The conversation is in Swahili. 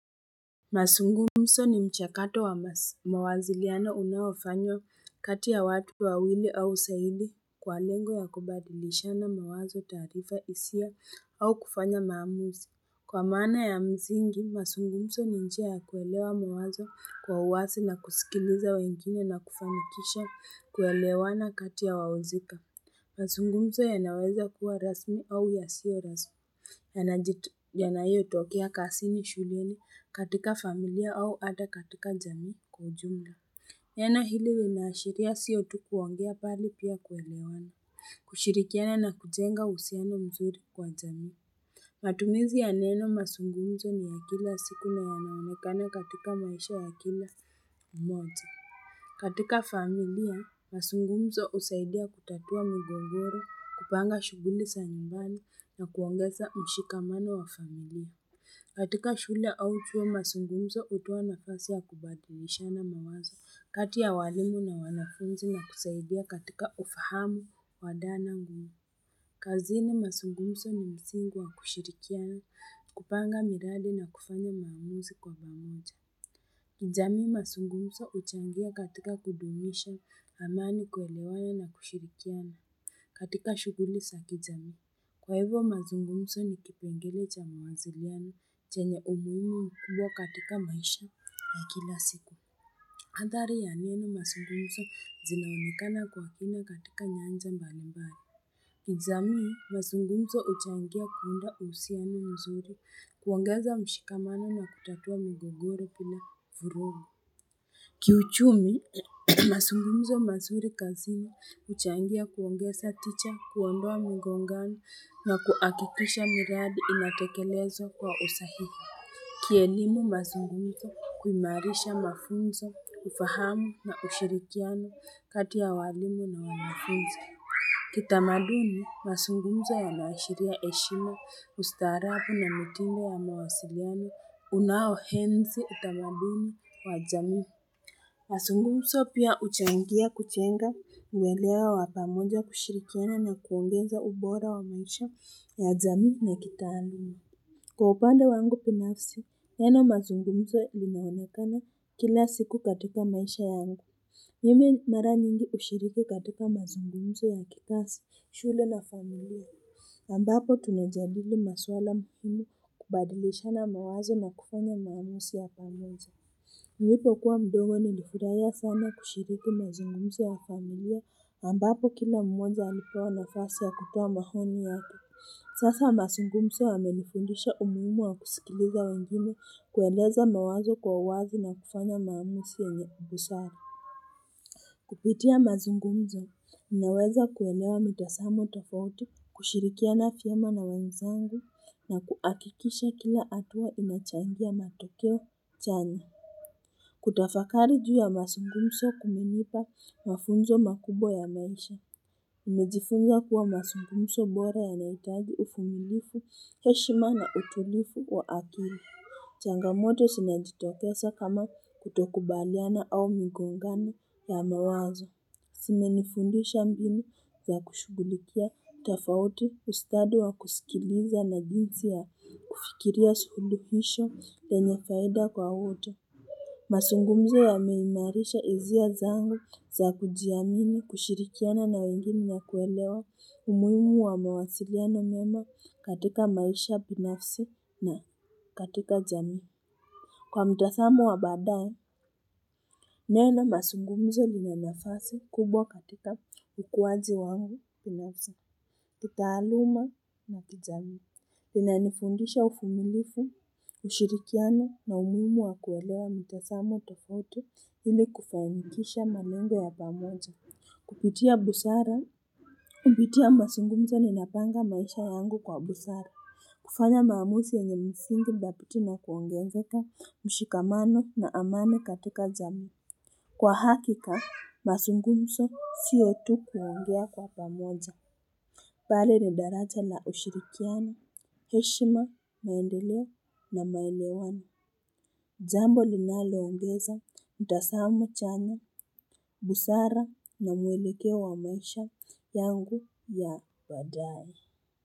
Masungumso ni mchakato wa mawaziliana unawafanyo kati ya watu wawili au zaidi kwa lengo ya kubadilishana mawazo tarifa isia au kufanya maamuzi Kwa maana ya mzingi masungumso ninjia ya kuelewa mawazo kwa uwasi na kusikiliza wengine na kufamikisha kuelewa na kati ya wawazika Masungumzo yanaweza kuwa rasmi au yasio rasmi yanayotokea kasini shuleni katika familia au ata katika jamii kwa jumla yana hili linahashiria siotu kuongea pali pia kuelewana kushirikiana na kujenga uhusiano mzuri kwa jamii matumizi yaneno masungumzo ni ya kila siku na yanaonekana katika maisha wa kila moja katika familia, masungumso usaidia kutatua migogoro, kupanga shuguli za nyumbani na kuongeza mshikamano wa familia. Katika shule au chuo, masungumso hutoa nafasi ya kubadilishana mawazo, kati ya walimu na wanafunzi na kusaidia katika ufahamu wadana ngumi. Kazini, masungumso msingi wa kushirikiana, kupanga miradi na kufanya maamuzi kwa pamoja. Kijamii masungumso uchangia katika kudumisha amani kuelewana na kushirikiana katika shuguli za kijamii. Kwa hivyo masungumso ni kipengele cha muwasiliano chenye umuhimu mkubwa katika maisha ya kila siku. Hadhari ya neno masungumso zinaonekana kwa kina katika nyanja mbalimbali. Kijamii masungumso uchangia kuunda uhusiano mzuri kuongeza mshikamano na kutatua migogoro bila vurugu. Kiuchumi, masungunzo mazuri kazini uchangia kuongeza ticha, kuondoa migongano na kuhakikisha miradi inatekelezwa kwa usahihi. Kielimu masungunzo, kuimarisha mafunzo, kufahamu na ushirikiano kati ya walimu na wanafunzi. Kitamaduni, masungunzo yanashiria heshima, ustaarabu na mtine ya mawasiliano, unao enzi utamaduni wa jamii. Masungumso pia uchangia kuchenga mwelewa wapamonja kushirikena na kuongeza ubora wa maisha ya jamii na kitaalimi. Kwa upande wangu binafsi, neno mazungumzo lilinaonekana kila siku katika maisha yangu. Mimi mara nyingi hushiriki katika mazungumzo ya kikazi, shule na familia. Ambapo tunajadili maswala mfini kubadilishana mawazo na kufanya mamuzi ya pamoja. Nilipo kuwa mdogo nilifurahia sana kushiriki mazungumzo ya familia ambapo kila mmoja alipewa nafasi ya kutoa maoni yake Sasa mazungumzo yamenifundisha umuhimu wa kusikiliza wengine kueleza mawazo kwa uwazi na kufanya maamuzi yenye busara Kupitia mazungumzo ninaweza kuelewa mitazamo tofautu kushirikiana vyema na wenzangu na kuakikisha kila hatuwa inachangia matokeo chane kutafakari juu ya masungumso kumenipa mafunzo makubwa ya maisha nimejifunza kuwa masungumso bora yana hitaji uvumilivu, heshima na utulifu wa akili Changamoto sinajitofesa kama kutokubaliana au mingongano ya mawazo Sime nifundisha mbinu za kushugulikia tafauti ustadi wa kusikiliza na jinsi ya kufikiria suluhisho lenyefaida kwa wote. Masungumzo ya meimarisha hisia zangu za kujiamini kushirikiana na wengine na kuelewa umuhimu wa mawasiliano mema katika maisha binafsi na katika jamii. Kwa mtathamu wa baadae, neno masungumzo linanafasi kubwa katika ukuwaji wangu binafsi, kitaaaluma na kijamii. Lina nifundisha uvumilifu, ushirikiano na umuhimu wa kuwelewa mtasamo tofauti hili kufanikisha malengo ya pamoja. Kupitia busara. Kupitia masungumzo ni napanga maisha yangu kwa busara. Kufanya mamusi yenye msingi dhabiti kuongezeka mshikamano na amani katika jamii. Kwa hakika, masungunso siotu kuongea kwa pamoja. Pali ni daraja na ushirikiano, heshima na endoleo na maelewano. Jambo linalo ongeza, utasamo chana, busara na mwelekeo wa maisha yangu ya baadae.